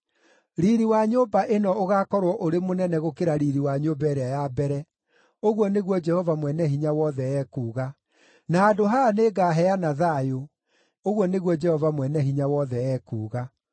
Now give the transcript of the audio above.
Riiri wa nyũmba ĩno ũgaakorwo ũrĩ mũnene gũkĩra riiri wa nyũmba ĩrĩa ya mbere,’ ũguo nĩguo Jehova Mwene-Hinya-Wothe ekuuga. ‘Na handũ haha nĩngaheana thayũ,’ ũguo nĩguo Jehova Mwene-Hinya-Wothe ekuuga.”